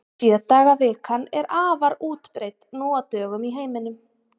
Sjö daga vikan er afar útbreidd nú á dögum í heiminum.